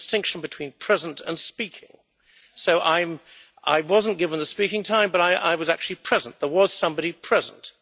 There is a distinction between present and speaking. So I wasn't given the speaking time but I was actually present there was somebody present.